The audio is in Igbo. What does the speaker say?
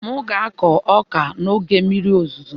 M ga-akụ ọka n'oge mmiri ozuzo